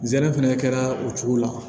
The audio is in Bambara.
Zɛnɛ fɛnɛ kɛra o cogo la